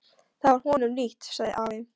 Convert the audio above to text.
Það var honum líkt, sagði afi.